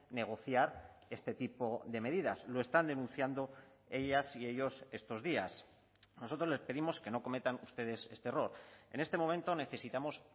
negociar este tipo de medidas lo están denunciando ellas y ellos estos días nosotros les pedimos que no cometan ustedes este error en este momento necesitamos